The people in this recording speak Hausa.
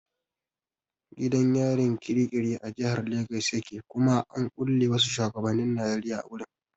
Gidan yarin kirikiri a jahar legas yake kuma an kulle wasu shuwagabannin Najeriya a gurin.